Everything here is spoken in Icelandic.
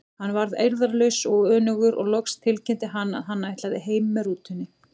Hann varð eirðarlaus og önugur og loks tilkynnti hann að hann ætlaði heim með rútunni.